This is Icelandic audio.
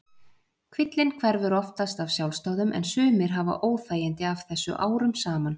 Kvillinn hverfur oftast af sjálfsdáðum en sumir hafa óþægindi af þessu árum saman.